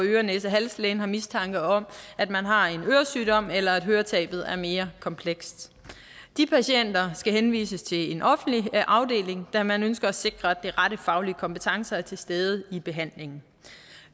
øre næse hals lægen har mistanke om at man har en øresygdom eller at høretabet er mere komplekst de patienter skal henvises til en offentlig afdeling da man ønsker at sikre at den rette faglige kompetence er til stede i behandlingen